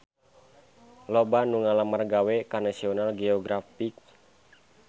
Loba anu ngalamar gawe ka National Geographic